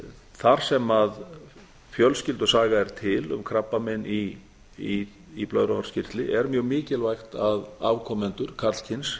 þar sem fjölskyldusaga er til um krabbamein í blöðruhálskirtli er mjög mikilvægt að afkomendur karlkyns